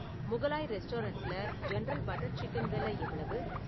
முகலாய் ரெஸ்டாரன்ட்ல general butter chicken வெல எவ்வளவு?